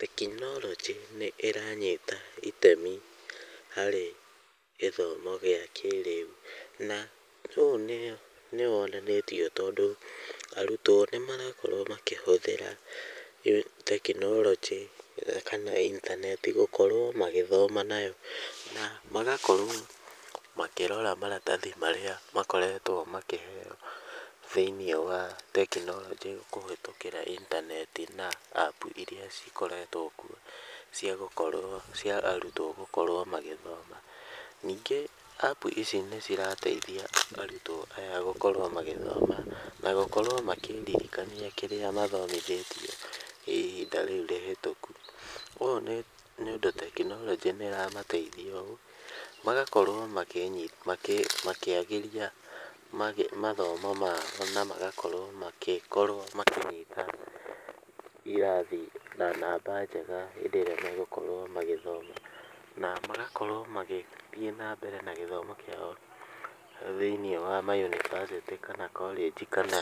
Tekinorojĩ nĩ ĩranyita itemi harĩ gĩthomo gĩa kĩrĩu, na ũũ nĩ wonanĩtio tondũ arutwo nĩ marakorwo makĩhũthĩra tekinorojĩ kana intaneti gũkorwo magĩthoma nayo, na magakorwo makĩrora maratathi marĩa makoretwo makĩheo thĩiniĩ wa tekinorojĩ, kũhĩtũkĩra inataneti na apu iria cikoretwo kuo, cia gũkorwo , cia arutwo gũkorwo magĩthoma, ningĩ apu ici nĩ cirateithia arutwo aya gũkorwo magĩthoma , na gũkorwo makĩririkania kĩrĩa mathomithĩtio ihinda rĩu rĩhũtũku, ũũ nĩ ũndũ tekinorojĩ nĩ ĩramateithia ũũ , magakorwo makĩagĩria mathomo mao, na magakorwo magĩkorwo irathi , na namba njega hĩndĩ ĩrĩa magũkorwo magĩthoma , na magakorwo magĩthiĩ na mbere na gĩthomo kĩao thĩiniĩ wa mayunivasĩtĩ kana korĩnji , kana